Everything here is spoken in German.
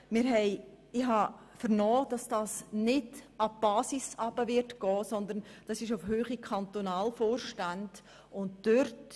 Ich habe vernommen, dass diese Massnahme an der Basis nicht spürbar sein wird, sondern sich auf der Höhe der Kantonalvorstände bewegt.